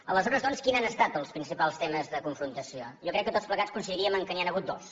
aleshores doncs quins han estat els principals temes del confrontació jo crec que tots plegats coincidiríem que n’hi han hagut dos